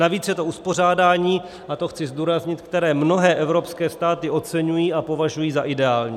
Navíc je to uspořádání - a to chci zdůraznit - které mnohé evropské státy oceňují a považují za ideální.